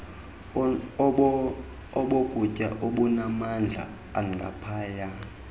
obokutya obunamandla angaphaya